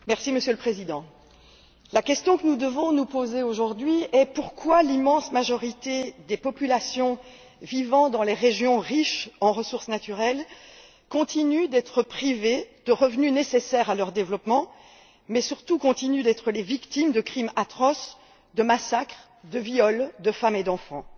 Monsieur le Président, la question que nous devons nous poser aujourd'hui est la suivante pourquoi l'immense majorité des populations vivant dans les régions riches en ressources naturelles continuent d'être privées de revenus nécessaires à leur développement mais, surtout, continuent d'être les victimes de crimes atroces, de massacres, de viols de femmes et d'enfants?